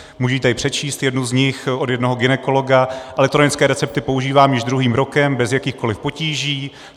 Můžu tady přečíst jednu z nich od jednoho gynekologa: "Elektronické recepty používám již druhým rokem bez jakýchkoli potíží.